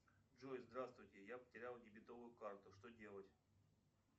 джой здравствуйте я потерял дебетовую карту что делать